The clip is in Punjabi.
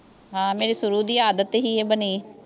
ਹਾਂ ਮੇਰੀ ਸ਼ੁਰੂ ਦੀ ਆਦਤ ਸੀ ਇਹ ਬਣੀ